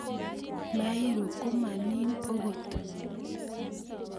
Mairo kamanin angot